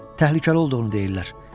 Təhlükəli olduğunu deyirlər.